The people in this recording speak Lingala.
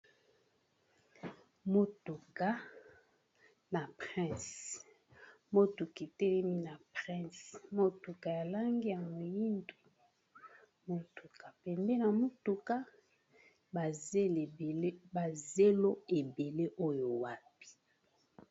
motuka na prince motuka etelemi na prince motuka ya lange ya moyindu motuka pembeni na motuka bazelo ebele oyo wapi